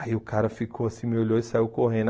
Aí o cara ficou assim, me olhou e saiu correndo.